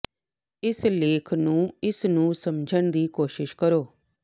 ਇਸ ਲੇਖ ਨੂੰ ਇਸ ਨੂੰ ਸਮਝਣ ਦੀ ਕੋਸ਼ਿਸ਼ ਕਰੋ